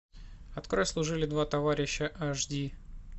открой служили два товарища аш ди